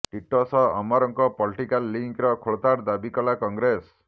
ଟିଟୋ ସହ ଅମରଙ୍କ ପଲିଟିକାଲ୍ ଲିଙ୍କର ଖୋଳତାଡ଼ ଦାବି କଲା କଂଗ୍ରେସ